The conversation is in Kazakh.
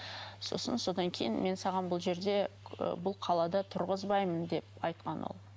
сосын содан кейін мен саған бұл жерде ы бұл қалада тұрғызбаймын деп айтқан ол